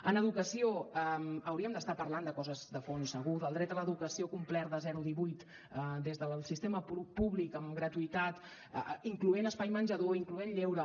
en educació hauríem d’estar parlant de coses de fons segur del dret a l’educació complert de zero a divuit des del sistema públic amb gratuïtat incloent espai menjador incloent lleure